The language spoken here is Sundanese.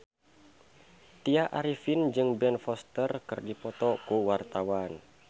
Tya Arifin jeung Ben Foster keur dipoto ku wartawan